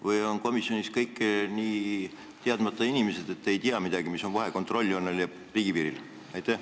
Või on komisjonis kõik nii teadmata inimesed – ei teatagi, mis vahe on kontrolljoonel ja riigipiiril?